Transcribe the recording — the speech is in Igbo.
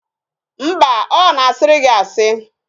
Mba, ọ na-asịrị gị asị